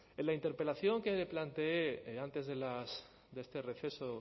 en la interpelación que le planteé antes de este receso